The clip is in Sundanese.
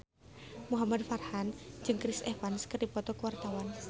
Muhamad Farhan jeung Chris Evans keur dipoto ku wartawan